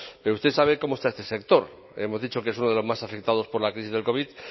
pero usted sabe cómo está este sector hemos dicho que es uno de los más afectados por la crisis del covid